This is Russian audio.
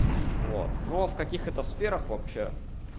вот ну в каких это сферах вообще